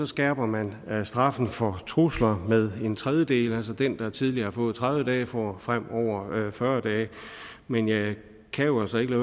skærper man straffen for trusler med en tredjedel altså den der tidligere har fået tredive dage får fremover fyrre dage men jeg kan jo altså ikke